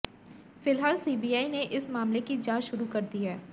फिलहाल सीबीआई ने इस मामले की जांच शुरू कर दी है